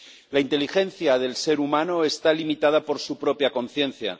La inteligencia del ser humano está limitada por su propia conciencia